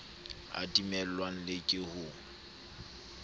a timellwang le ke ho